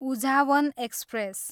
Uzhavan express